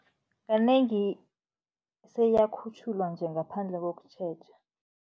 Kanengi seyiyakhutjhulwa nje, ngaphandle kokutjheja.